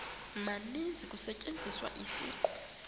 maninzi kusetyenziswa isiqu